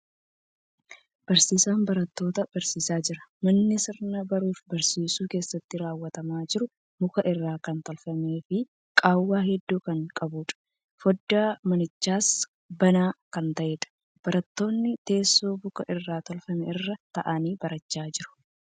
Barsiisan barattoota barsiisaa jira. Manni sirni baruuf barsiisuu keessatti raawwatamaa jiru muka irraa kan tolfamee fii qaawwa hedduu kan qabuudha. Foddaan manichaas banaa kan ta'eedha. Barattoonni teessoo muka irraa tolfame irra taa'anii barachaa jiru.